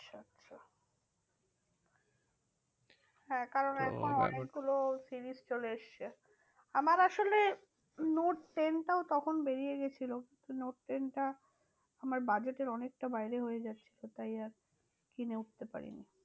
হ্যাঁ কারণ এখন তো এখন অনেকগুলো series চলে এসেছে। আমার আসলে নোট টেন টাও তখন বেরিয়ে গেছিলো নোট টেন টা আমার budget এর অনেকটা বাইরে হয়ে যাচ্ছিলো, তাই আর কিনে উঠতে পারিনি।